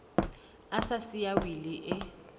a sa siya wili e